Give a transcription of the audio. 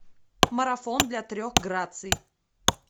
марафон для трех граций